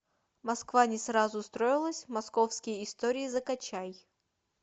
москва не сразу строилась московские истории закачай